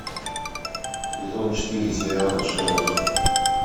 сезон четыре сериала шерлок